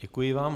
Děkuji vám.